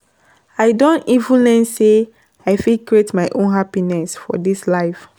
I don even learn sey I fit create my own happiness for dis life.